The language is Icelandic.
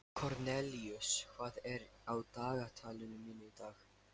Kornelíus, hvað er á dagatalinu mínu í dag?